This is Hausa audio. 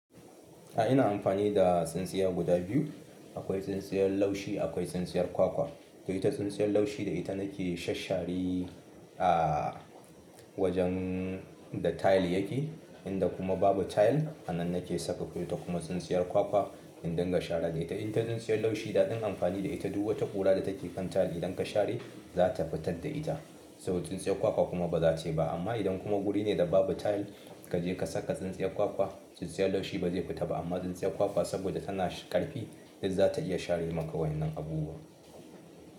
A'a ina amfani da tsintsiya guda biyu. Akwai tsintsiyar laushi akwai tsintsiyar kwakwa. Da ita tsintsiyar laushi da ita nake shashshari a wajen da tile yake. Inda kuma babu tile a nan nake saka ita kuma tsintsiyar kwakwa in dinga share da ita. Ita tsintsiyar laushi daɗin amfani da ita duk wata ƙura da take kan tile idan ka share za ta fitar da ita. Saboda tsintsiyar kwakwa kuma ba za ta yi ba. Amma idan kuma guri ne da babu tile kaje ka saka tsintsiyar kwakwa, tsintsiyar laushi ba zai fita ba amma tsintsiyar kwakwa saboda tana ƙarfi dai za ta iya share maka wannan abubuwa.